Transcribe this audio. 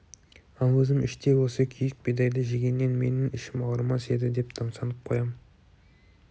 ал өзім іштей осы күйік бидайды жегеннен менің ішім ауырмас еді деп тамсанып қоям